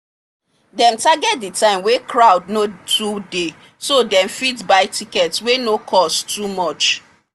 dem target the time wey crowd no too dey so dem fit buy ticket wey no cost too much.